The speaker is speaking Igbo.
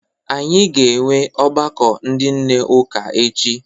Anyị ga-enwe ọgbakọ ndị nne ụka echi.